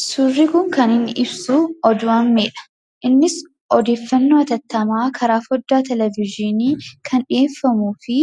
Suurri kun kan inni ibsu oduu ammeedha. Innis odeeffannoo hatattamaa karaa foddaa televizyiinii kan dhiyeeffamuu fi